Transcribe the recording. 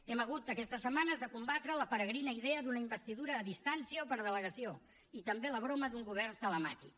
hem hagut aquestes setmanes de combatre la peregrina idea d’una investidura a distància o per delegació i també la broma d’un govern telemàtic